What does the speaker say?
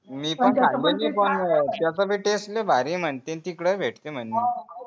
मी पण झाला नाय पण त्याचा भी taste लय भारी आहे म्हन्तेत तिकडे भेटत म्हणे